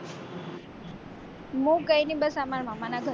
હું કઈ ની બસ મારા મામા ના ઘરે